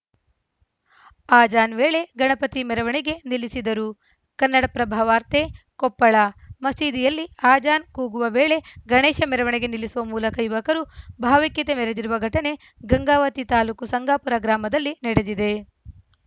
ಆಜಾನ್‌ ವೇಳೆ ಗಣಪತಿ ಮೆರವಣಿಗೆ ನಿಲ್ಲಿಸಿದರು ಕನ್ನಡಪ್ರಭ ವಾರ್ತೆ ಕೊಪ್ಪಳ ಮಸೀದಿಯಲ್ಲಿ ಆಜಾನ್‌ ಕೂಗುವ ವೇಳೆ ಗಣೇಶ ಮೆರವಣಿಗೆ ನಿಲ್ಲಿಸುವ ಮೂಲಕ ಯುವಕರು ಭಾವೈಕ್ಯತೆ ಮೆರೆದಿರುವ ಘಟನೆ ಗಂಗಾವತಿ ತಾಲೂಕು ಸಂಗಾಪುರ ಗ್ರಾಮದಲ್ಲಿ ನಡೆದಿದೆ